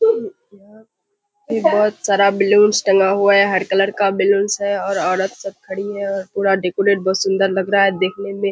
बहुत सारा बलून्स टंगा हुआ है | हर कलर का बैलून्स है और औरत सब खड़ी है पूरा डेकोरेट है बहुत सुंदर लग रहा है देखने मे --